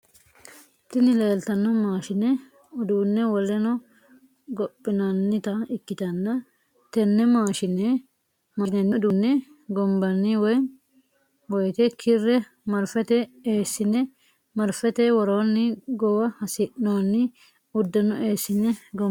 Tini leeltanno mashine uduunne woleno gophinannita ikkitanna tenne maashinenni uduunne gombanni woyite kirre marfete eessine marfete woroonni gowa hasi'noonni uddano eessine gombanni.